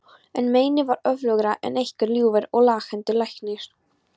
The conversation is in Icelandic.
En meinið var öflugra en einhver ljúfur og laghentur læknir.